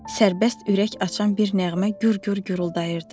Sərbəst ürək açan bir nəğmə gür-gür guruldayırdı.